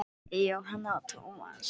Jóhanna og Tómas.